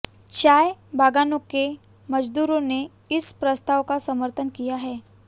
चाय बागानों के मजदूरों ने इस प्रस्ताव का समर्थन किया है